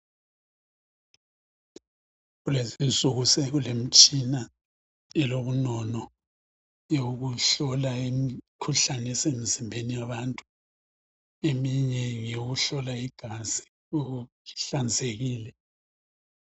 Kulezi insuku sekulemtshina elobunono eyokuhlola imikhuhlane esemzimbeni yabantu. Eminye ngeyokuhlola igazi ukuba lihlanzekile.